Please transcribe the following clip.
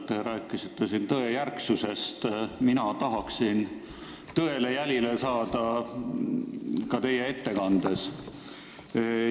Te rääkisite siin tõejärgsusest, mina tahaksin tõele jälile saada ka teie ettekande puhul.